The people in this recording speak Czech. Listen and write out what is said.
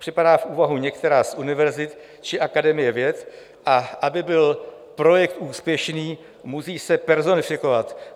Připadá v úvahu některá z univerzit či Akademie věd, a aby byl projekt úspěšný, musí se personifikovat.